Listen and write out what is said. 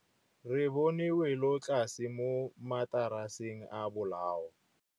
Re bone wêlôtlasê mo mataraseng a bolaô.